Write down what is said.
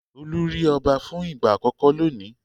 Olú rí ọba fún ìgbà àkọ́kọ́ lónìí.